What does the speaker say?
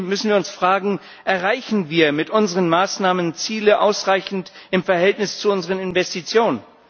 Trotzdem müssen wir uns fragen Erreichen wir mit unseren Maßnahmen Ziele ausreichend im Verhältnis zu unseren Investitionen?